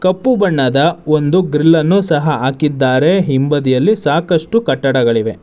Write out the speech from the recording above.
ಕಪ್ಪು ಬಣ್ಣದ ಒಂದು ಡ್ರಿಲ್ ಅನ್ನು ಸಹ ಹಾಕಿದ್ದರೆ ಹಿಂಬದಿಯಲ್ಲಿ ಸಾಕಷ್ಟು ಕಟ್ಟಡಗಳಿವೆ.